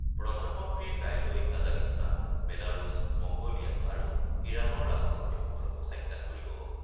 প্ৰধানমন্ত্ৰীয়ে কাইলৈ Kazakhstan, Belarus, Mongolia আৰু ইৰাণৰ ৰাষ্ট্ৰপতিসকলকো সাক্ষাৎ কৰিব।